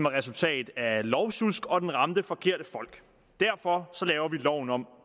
resultat af lovsjusk og den ramte forkerte folk derfor laver vi loven om